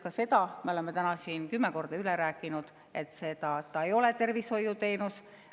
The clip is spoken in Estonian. Ka seda oleme täna siin kümme korda üle rääkinud, et see ei ole tervishoiuteenus.